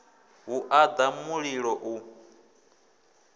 ha u ḽa mulimo u